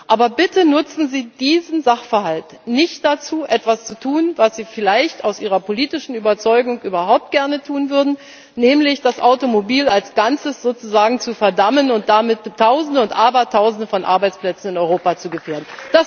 Aber bitte nutzen Sie diesen Sachverhalt nicht dazu, etwas zu tun, was Sie vielleicht aus Ihrer politischen Überzeugung überhaupt gerne tun würden, nämlich das Automobil als Ganzes sozusagen zu verdammen und damit Tausende und Abertausende von Arbeitsplätzen in Europa zu gefährden!